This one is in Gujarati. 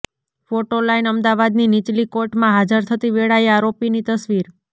ફોટો લાઈન અમદાવાદની નીચલી કોર્ટમાં હાજર થતી વેળાએ આરોપીની તસવીર